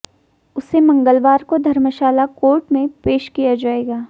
उसे मंगलवार को धर्मशाला कोर्ट में पेश किया जाएगा